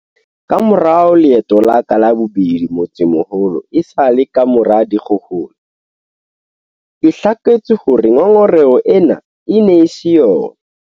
Kamora leeto la ka la bobedi motsemoholo esale kamora dikgohola, ke hlaketswe hore ngongoreho ena e ne e se yona.